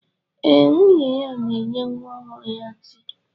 Eh, nwunye ya na-enye nwa ọhụrụ ya tii.